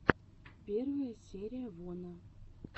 первая серия вона